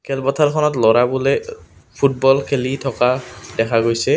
খেলপথাৰ খনত ল'ৰাবোলে অ ফুটবল খেলি থকা দেখা গৈছে।